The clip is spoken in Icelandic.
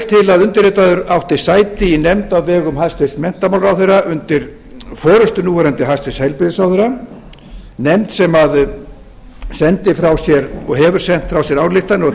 að undirritaður átti sæti í nefnd á vegum hæstvirtur menntamálaráðherra undir forustu núverandi hæstvirtum heilbrigðisráðherra nefnd sem sendi frá sér og hefur sent frá sér ályktanir